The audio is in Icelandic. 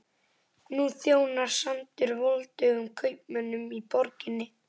Nú þjónar sandurinn voldugum kaupmönnunum í borginni.